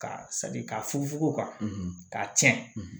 Ka saki ka fufu o kan ka tiɲɛ